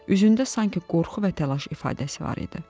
Üzündə sanki qorxu və təlaş ifadəsi var idi.